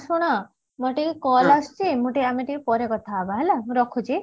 ଶୁଣ ମତେ ଟିକେ call ଆସୁଛି ମୁଁ ଟିକେ ଆମେ ଟିକେ ପରେ କଥା ହେବା